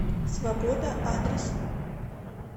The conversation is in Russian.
свобода адрес